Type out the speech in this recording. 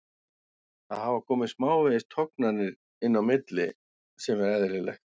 Það hafa komið smávegis tognanir inn á milli sem er eðlilegt.